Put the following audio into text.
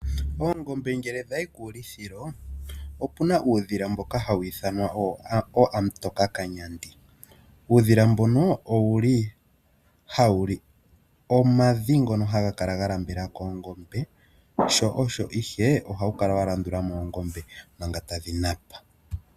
Oongombe ngele dhayi kuulithilo opuna uudhila mboka hawu ithanwa ookamutokakanyandi. Uudhila mbono owuli hawuli omadhi ngono haga kala ga nambela koongombe sho osho ihe ohawu kala wa landula moongombe manga tadhi napa.